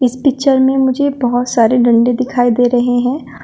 इस पिक्चर में मुझे बहोत सारे डंडे दिखाई दे रहे हैं।